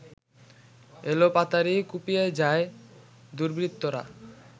এলোপাতাড়ি কুপিয়ে যায় দুর্বৃত্তরা